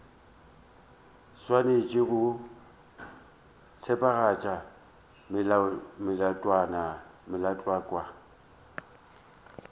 o swanetše go tsebagatša melaotlhakwa